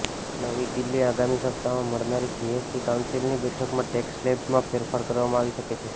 નવી દિલ્હીઃ આગામી સપ્તાહમાં મળનારી જીએસટી કાઉન્સિલની બેઠકમાં ટેક્સ સ્લેબમાં ફેરફાર કરવામાં આવી શકે છે